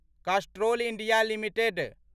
Castrol India limited